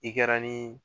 I kɛra ni